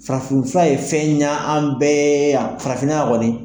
Farafin fura ye fɛn ɲɛ an bɛɛ ye yan farafinna ya kɔni.